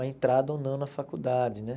a entrada ou não na faculdade, né?